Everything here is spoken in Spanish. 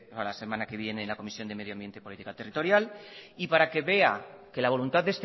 para la semana que viene en la comisión de medio ambiente y política territorial y para que vea que la voluntad